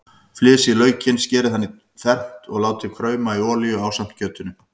Flysjið laukinn, skerið hann í fernt og látið krauma í olíunni ásamt kjötinu.